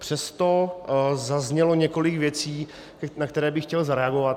Přesto zaznělo několik věcí, na které bych chtěl zareagovat.